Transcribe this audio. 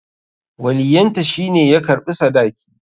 Waliyyanta shi ne ya karɓi sadakin.